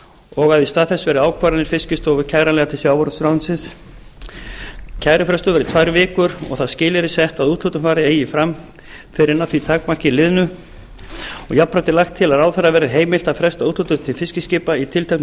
og að þess í stað verði ákvarðanir fiskistofu kæranlegar til sjávarútvegsráðuneytisins kærufrestur verði tvær vikur og það skilyrði sett að úthlutun fari eigi fram fyrr en að því tímamarki liðnu jafnframt er lagt til að ráðherra verði heimilt að fresta úthlutun til fiskiskipa í tilteknu